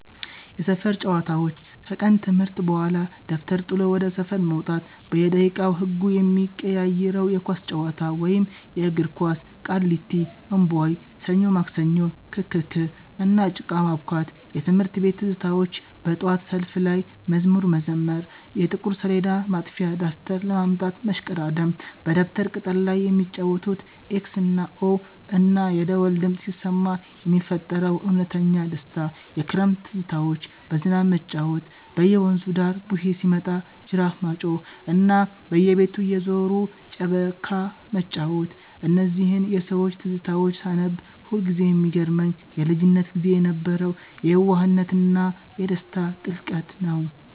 የሰፈር ጨዋታዎች፦ ከቀን ትምህርት በኋላ ደብተርን ጥሎ ወደ ሰፈር መውጣት፤ በየደቂቃው ህጉ የሚቀያየረው የኳስ ጨዋታ (የእግር ኳስ)፣ ቃሊቲ (እምቧይ)፣ ሰኞ ማክሰኞ፣ ክክክ፣ እና ጭቃ ማቡካት። የትምህርት ቤት ትዝታዎች፦ በጠዋት ሰልፍ ላይ መዝሙር መዘመር፣ የጥቁር ሰሌዳ ማጥፊያ (ዳስተር) ለማምጣት መሽቀዳደም፣ በደብተር ቅጠል ላይ የሚጫወቱት "ኤክስ እና ኦ"፣ እና የደወል ድምፅ ሲሰማ የሚፈጠረው እውነተኛ ደስታ። የክረምት ትዝታዎች፦ በዝናብ መጫወት፣ በየወንዙ ዳር "ቡሄ" ሲመጣ ጅራፍ ማጮኽ፣ እና በየቤቱ እየዞሩ ጨበካ መጫወት። እነዚህን የሰዎች ትዝታዎች ሳነብ ሁልጊዜ የሚገርመኝ የልጅነት ጊዜ የነበረው የየዋህነትና የደስታ ጥልቀት ነው።